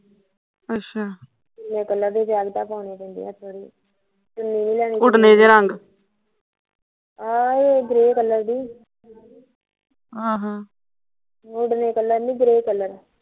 ਜੈਕਟਾ ਪਾਉਣੀਂ ਪੈਂਦੀਆ ਉੱਥੇ ਚੁਣੀ ਵੀ ਲੈਨੀ ਆਹੋ ਗਰੇ ਕਲਰ ਦੀ ਡਰੈ ਕਲਰ ਨੀ ਗਰੇ ਕਲਰ